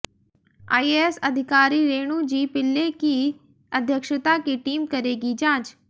IAS अधिकारी Renu G Pillai की अध्यक्षता की टीम करेगी जांच